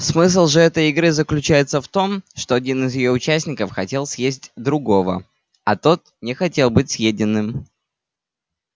смысл же этой игры заключается в том что один из её участников хотел съесть другого а тот не хотел быть съеденным